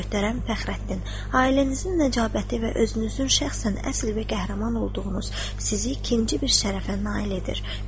Möhtərəm Fəxrəddin, ailənizin nəcabəti və özünüzün şəxsən əsil və qəhrəman olduğunuz sizi ikinci bir şərəfə nail edir.